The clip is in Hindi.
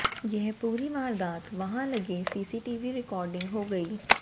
यह पूरी वारदात वहां लगे सीसीटीवी रिकॉर्डिंग हो गई